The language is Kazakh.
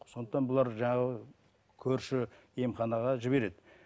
сондықтан бұлар жаңағы көрші емханаға жібереді